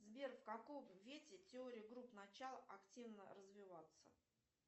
сбер в каком вете теория групп начало активно развиваться